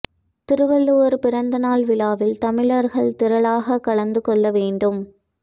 திருவள்ளுவர் பிறந்த நாள் விழாவில் தமிழர்கள் திரளாக கலந்து கொள்ள வேண்டும்